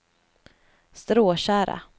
Stråtjära